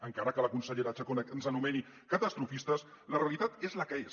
encara que la consellera chacón ens anomeni catastrofistes la realitat és la que és